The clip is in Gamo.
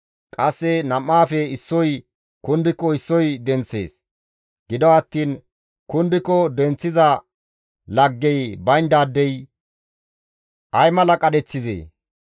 Qasse nam7aafe issoy kundiko issoy denththees; gido attiin kundiko denththiza laggey bayndaadey ay mala qadheththizee!